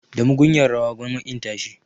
Da mugunyar rawa gwamma ƙin tashi